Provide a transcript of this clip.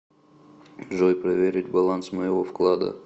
джой проверить баланс моего вклада